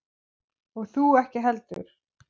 Og þú ekki heldur.